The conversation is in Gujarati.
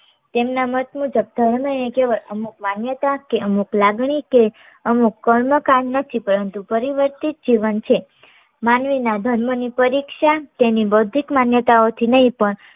તેમના મત મુજબ ધર્મ એ કેવળ અમુક માન્યતા કે અમુક લાગણી કે અમુક કર્મ કામ નથી પરંતુ પરિવર્તિત જીવન છે. માનવીના ધર્મ ની પરીક્ષા તેની બૌદ્ધિક માન્યતાઓથી નહીં પણ